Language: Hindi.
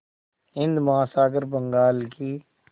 हिंद महासागर बंगाल की